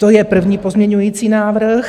To je první pozměňovací návrh.